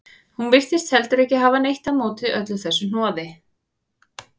Hún virtist heldur ekki hafa neitt á móti öllu þessu hnoði.